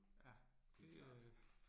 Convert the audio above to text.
Ja, det øh